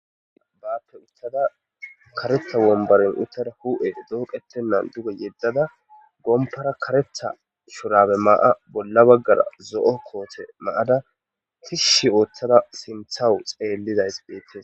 Baappe uttada kareta wombaren uttara hu7e dooqettennan duge yeddada gompara karetha shurabe ma7a bolla baggara zo7o koote maada kishshi ooththada sinthawu xeellidays beettes.